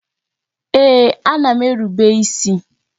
Ee, a na m erube isi